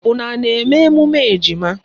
Unu à na-eme emume ejima?